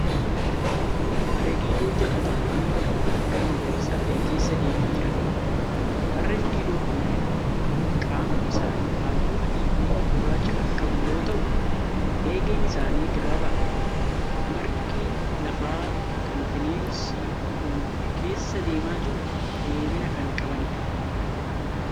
Harree Didoo ja'a ta'aanii lafa margaa magariisa ta'e keessa deemaa jiraniidha. Harreen Didoo kunneen qaamni isaanii halluu adii fi gurraacha kan qabu yoo ta'u eegeen isaanii gabaabaadha. Margi lafaa kan bineensi kun keessa deemaa jiru dheerina kan qabaniidha.